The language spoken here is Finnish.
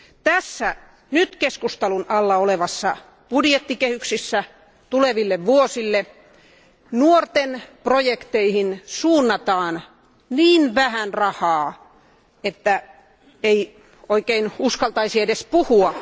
Tässä nyt keskustelun alla olevassa budjettikehyksessä tuleville vuosille nuorten projekteihin suunnataan niin vähän rahaa, että ei oikein uskaltaisi edes puhua.